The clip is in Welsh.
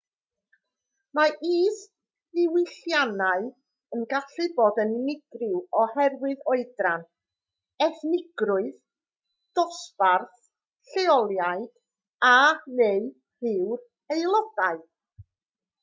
mae isddiwylliannau yn gallu bod yn unigryw oherwydd oedran ethnigrwydd dosbarth lleoliad a/neu ryw'r aelodau